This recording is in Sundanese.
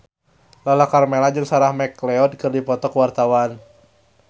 Lala Karmela jeung Sarah McLeod keur dipoto ku wartawan